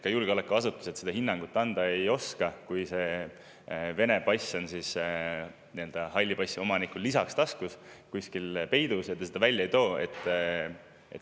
Ka julgeolekuasutused seda hinnangut anda ei oska, kui see Vene pass on halli passi omanikul kuskil taskus peidus ja ta seda välja ei too.